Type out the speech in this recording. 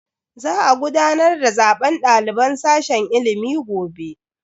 Za a gudanar da zaben daliban sashen ilimi gobe.